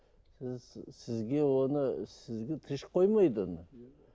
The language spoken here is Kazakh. сіз сізге оны сізге тыныш қоймайды оны